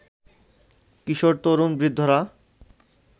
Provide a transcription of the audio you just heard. কিশোর, তরুণ, বৃদ্ধরা